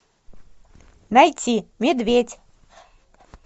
найти медведь